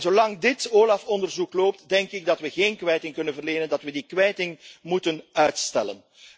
EASO. Zolang dit OLAF onderzoek loopt, denk ik dat we geen kwijting kunnen verlenen, dat we die kwijting moeten uitstellen.